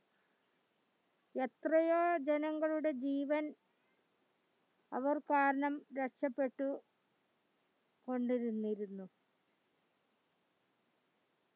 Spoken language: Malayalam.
എത്രയോ ജനങ്ങളുടെ ജീവൻ അവർ കാരണം രക്ഷപെട്ടു കൊണ്ടിരുന്നിരുന്ന